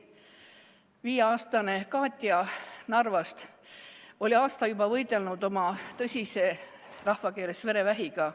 Viieaastane Katja Narvast oli juba aasta võidelnud tõsise haigusega, rahvakeeles verevähiga.